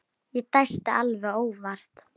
Ég dæsti alveg óvart.